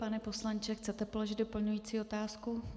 Pane poslanče, chcete položit doplňující otázku?